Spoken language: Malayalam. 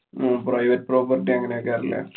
ഹും private property അങ്ങനൊക്കെ ആണല്ലേ?